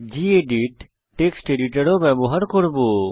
gedit text editor ও ব্যবহার করব